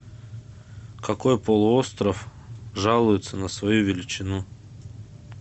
какой полуостров жалуется на свою величину